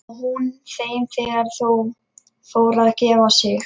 Og hún þeim þegar þau fóru að gefa sig.